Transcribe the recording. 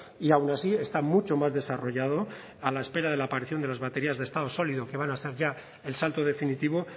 y aun así está mucho más desarrollado a la espera de la aparición de las baterías de estado sólido que van a estar ya el salto definitivo